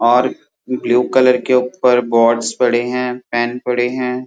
और blue colour के ऊपर बोर्ड्स पड़े हैं पेन पड़े हैं।